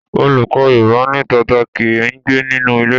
Olùkọ́ Yorùbá ní tata kì í gbé nínú ilé.